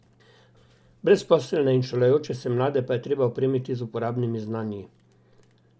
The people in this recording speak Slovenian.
Brezposelne in šolajoče se mlade pa je treba opremiti z uporabnimi znanji.